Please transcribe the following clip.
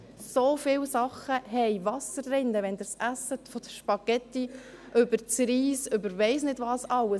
So viele Sachen enthalten Wasser, wenn Sie es essen, von den Spaghetti über den Reis über Ich-weiss-nicht-was-alles.